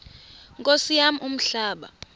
nkosi yam umhlaba